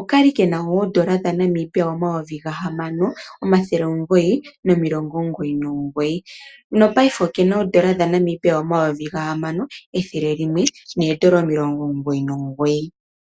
Okali kena oondola dha Namibia omayovi ga hamano omathele omugoyi nomilongo omugoyi nomugoyi, no paife oke na oondola dha Namibia omayovi ga hamano ethele limwe noondola omilongo omugoyi nomugoyi.